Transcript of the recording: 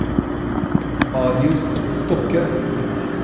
Marius Stokke